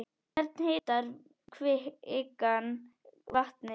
Hvernig hitar kvikan vatnið?